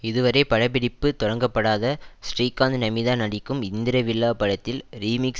இதுவரை படப்பிடிப்பு தொடங்கப்படாத ஸ்ரீகாந்த்நமிதா நடிக்கும் இந்திர விழா படத்தில் ரீமிக்ஸ்